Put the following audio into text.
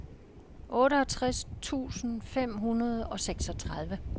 otteogtres tusind fem hundrede og seksogtredive